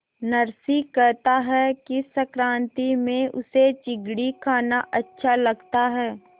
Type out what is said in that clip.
नरसी कहता है कि संक्रांति में उसे चिगडी खाना अच्छा लगता है